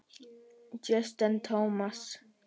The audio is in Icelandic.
Justin Thomas.